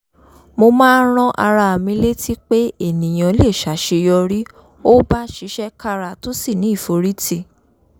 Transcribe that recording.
mo máa ń rán ara mi létí pé ènìyàn lè ṣàṣeyọrí ó bá ṣiṣẹ́ kára tó sì ní ìforítì